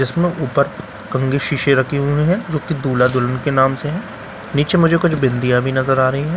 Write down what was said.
इसमें ऊपर कंघी शीशे रखे हुए हैं जो कि दूल्हा दुल्हन के नाम से हैं नीचे मुझे कुछ बिंदियां भी नजर आ रही हैं।